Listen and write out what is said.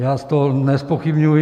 Já to nezpochybňuji.